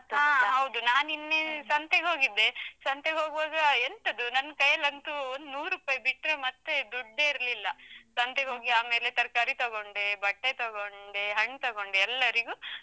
ನಾನ್ ನಿನ್ನೆ ಸಂತೆಗೆ ಹೋಗಿದ್ದೆ, ಸಂತೆಗೆ ಹೋಗುವಾಗ ಎಂತದು ನನ್ ಕೈಯ್ಯಲಂತೂ ಒಂದು ನೂರುಪೈ ಬಿಟ್ರೆ ಮತ್ತೆ ದುಡ್ಡೇ ಇರ್ಲಿಲ್ಲ, ಸಂತೆಗೆ ಹೋಗಿ ಆಮೇಲೆ ತರಕಾರಿ ತಗೊಂಡೆ, ಬಟ್ಟೆ ತಗೊಂಡೆ, ಹಣ್ಣ್ ತಗೊಂಡೆ ಎಲ್ಲರಿಗೂ.